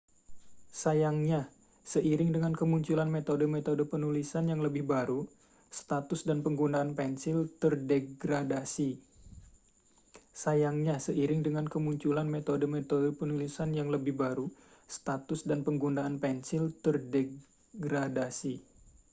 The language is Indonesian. sayangnya seiring dengan kemunculan metode-metode penulisan yang lebih baru status dan penggunaan pensil terdegradasi